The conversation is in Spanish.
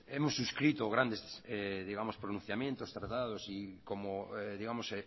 hemos inscrito grandes digamos pronunciamientos pero claro si como digamos